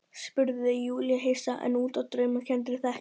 spurði Júlía hissa, enn úti á draumkenndri þekju.